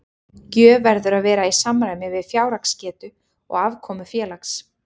Gjöf verður að vera í samræmi við fjárhagsgetu og afkomu félags.